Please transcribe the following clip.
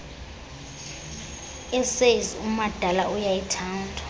essays umadala uyayithanda